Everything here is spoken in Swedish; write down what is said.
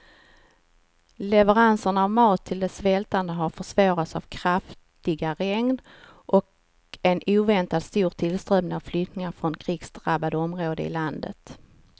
Leveranserna av mat till de svältande har försvårats av kraftiga regn och en oväntat stor tillströmning av flyktingar från krigsdrabbade områden i landet.